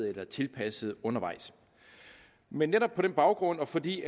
eller tilpasser undervejs men netop på den baggrund og fordi